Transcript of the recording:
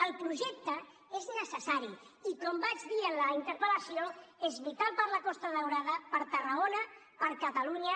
el projecte és necessari i com vaig dir en la interpellació és vital per a la costa daurada per a tarragona per a catalunya